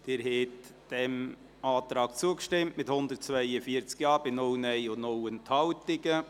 Sie haben diesem Antrag zugestimmt, mit 142 Ja-, 0 Nein-Stimmen und 0 Enthaltungen.